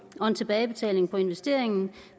og en tilbagebetaling på investeringen